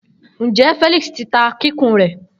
Njẹ Felix ti ta kikun rẹ?